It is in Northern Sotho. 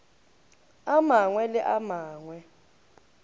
a mangwe le a mangwe